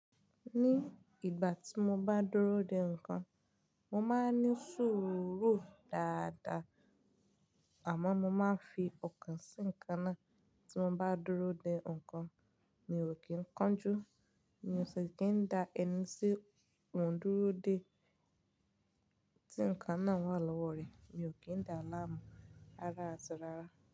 Ní ìgbà tí mo bá dúró de ǹkan, mo máa ń ní sùúrù dáadáa, àmọ́ mo máa ń fi ọ̀kàn sí ǹkan náà. Tí mo bá dúró de ǹkan mi ò kí ń kánjú, mi ò sì kí ń da ẹni sí ohun dúró dé tí ǹkan náà wà lọ́wọ́ rẹ, mi ò kí ń da láàmú rárá àti rárá.